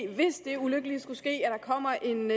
hvis det ulykkelige skulle ske at der kommer en